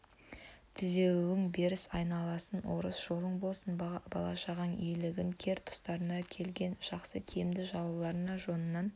тілеуің берсін айналайын орысым жолың болсын бала-шағаң игілігін кер тұстарына келген жақсы киімді жауларды жонынан